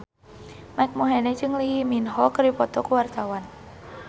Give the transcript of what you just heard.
Mike Mohede jeung Lee Min Ho keur dipoto ku wartawan